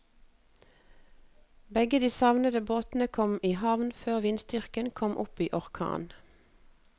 Begge de savnede båtene kom i havn før vindstyrken kom opp i orkan.